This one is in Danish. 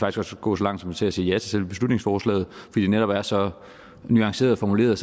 også gå langt som til at sige ja til selve beslutningsforslaget fordi det netop er så nuanceret formuleret